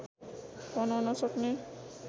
बनाउन सक्ने